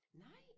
Nej